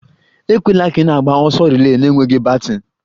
Ekwela ka ị na-agba ọsọ relay na-enweghị baton!